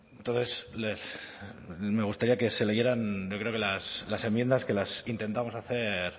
entonces me gustaría que se leyeran yo creo que las enmiendas que las intentamos hacer